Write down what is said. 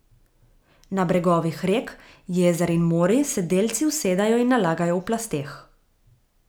Na bregovih rek, jezer in morij se delci usedajo in nalagajo v plasteh.